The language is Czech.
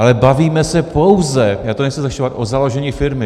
Ale bavíme se pouze - já to nechci zlehčovat - o založení firmy.